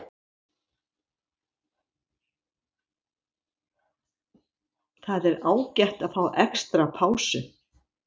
Það var ágætt að fá extra pásu.